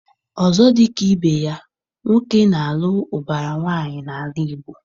Ọzọ dị ka ibe ya, nwoke na-alụ ụbara nwaanyị n'ala Igbo.